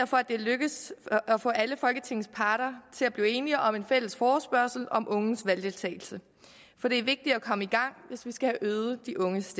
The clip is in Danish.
for at det er lykkedes at få alle folketingets partier til at blive enige om en fælles forespørgsel om unges valgdeltagelse for det er vigtigt at komme i gang hvis vi skal have øget de unges